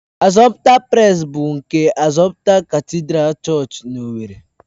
Assumpta Press bụ nke Assumpta katịdral Chọọchị na owerri.